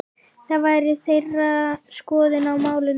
Það væri þeirra skoðun á málinu?